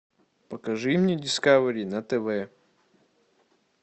покажи мне дискавери на тв